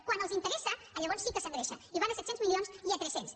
quan els interessa llavors sí que s’engreixa i van a set cents milions i a tres cents